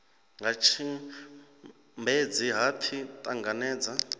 nga tshimbedzi ha pfi ṱanangedza